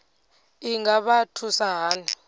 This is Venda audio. i nga vha thusa hani